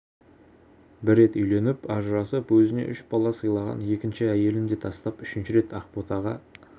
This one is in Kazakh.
бір рет үйленіп ажырасып өзіне үш бала сыйлаған екінші әйелін де тастап үшінші рет ақботаға